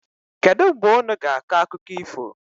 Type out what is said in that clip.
Kedụ mgbe unu ga-akọ akụkọ ifo?